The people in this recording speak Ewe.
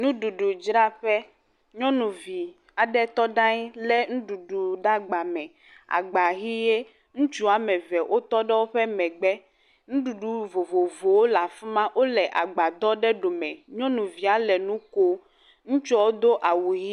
Nuɖuɖudzraƒe, nyɔnuvi aɖe tɔ ɖe aŋyi lé nuɖuɖu ɖe agba, agba ʋi ye. Ŋutsu woame eve wotɔ ɖe woƒe megbe, nuɖuɖu vovovowo le afi ma, wole agbadɔ ɖe ɖɔme, nyɔnuvia le nu ko, ŋutsuwo do awu ʋi…